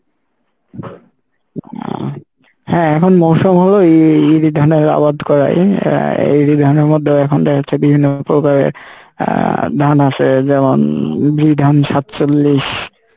হ্যাঁ এখন মৌসম হলো এ ইরি ধানের আবাদ করাই আহ ইরি ধানের মধ্যে এখন তো হচ্ছে বিভিন্ন প্রকারের আহ ধান আসে যেমন বিধান সাতচল্লিশ,